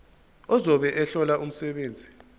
ozobe ehlola umsebenzi